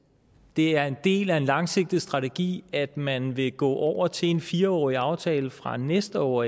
det er en del af en langsigtet strategi at man vil gå over til en fire årig aftale fra næste år